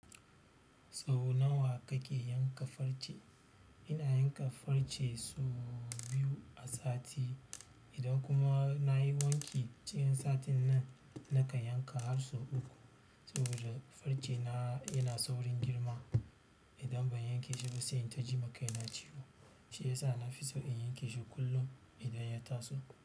Sau nawa kake yanka farce? Ina yanka farce sau biyu a sati, idan kuma na yi wanki cikin satin nan nakan yanka har sau uku. Saboda farce na yana saurin girma, idan ban yanke shi ba sai in yi ta ji ma kaina ciwo. Shi ya sa na fi so in yanke shi kullum idan ya taso.